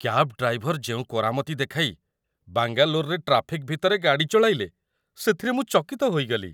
Cab driver ଯେଉଁ କରାମତି ଦେଖାଇ ବାଙ୍ଗାଲୋରରେ ଟ୍ରାଫିକ୍ ଭିତରେ ଗାଡ଼ି ଚଳାଇଲେ, ସେଥିରେ ମୁଁ ଚକିତ ହୋଇଗଲି।